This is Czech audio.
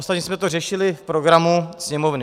Ostatně jsme to řešili v programu Sněmovny.